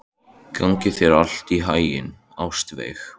Gangi þér allt í haginn, Ástveig.